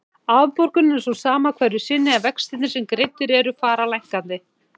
Afborgunin er sú sama hverju sinni en vextirnir sem greiddir eru fara lækkandi.